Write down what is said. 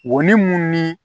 Wo ni mun ni